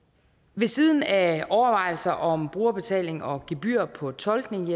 ved siden af overvejelser om brugerbetaling og gebyr på tolkning